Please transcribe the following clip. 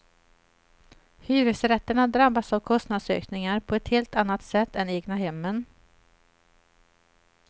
Hyresrätterna drabbas av kostnadsökningar på ett helt annat sätt en egnahemmen.